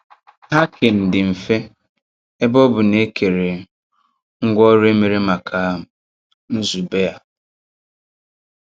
Hacking dị mfe ebe ọ bụ na e um kere um ngwanrọ e mere maka um nzube a.